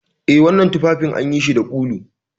Eh, wananan tuffafin anyishi da ulu.